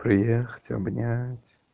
приехать обнять